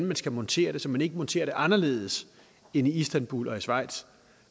man skulle montere det så man ikke monterer det anderledes end i istanbul og schweiz